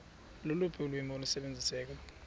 loluphi ulwimi olusebenziseka